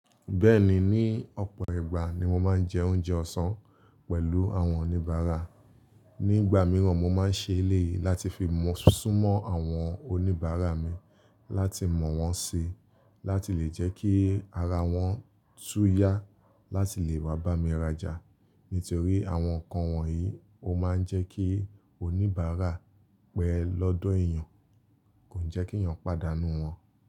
Bẹ́ẹ̀ni, ní ọ̀pọ̀ ìgbà ni mo máa ń jẹ oúnjẹ ọ̀sán pẹ̀lú àwọn oníbàárà. Nígbà mìíràn mo máa ń ṣe eléyìí láti fi súnmọ́ àwọn oníbàárà mi láti mọ̀ wọ́n sí láti lè jẹ́ kí ara wọ́n tú yá láti lè maá bá mi rajà. Nítorí àwọn nǹkan wọ̀nyí ó máa ń jẹ́ kí oníbàárà pẹ́ lọ́dọ̀ èèyàn, kò n jẹ́ kí èèyàn pàdánù wọn.